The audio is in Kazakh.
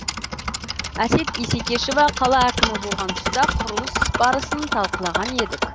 әсет исекешева қала әкімі болған тұста құрылыс барысын талқылаған едік